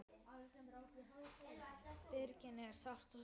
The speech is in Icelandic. Birgis er sárt saknað.